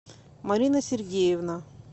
марина сергеевна